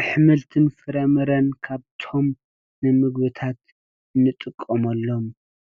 አሕምልትን ፍራምረን ካብቶም ንምግብታት ንጥቀመሎም